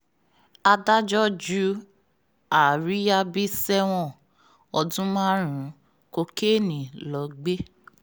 adájọ́ ju àríyábí sẹ́wọ̀n ọdún márùn-ún kokéènì lọ gbé